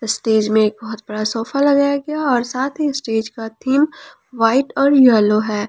Stage में एक बहुत बड़ा सोफा लगाया है और साथ ही स्टेज का थीम व्हाइट और येलो है।